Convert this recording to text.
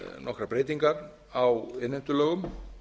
nokkrar breytingar á innheimtulögum